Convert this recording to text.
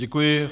Děkuji.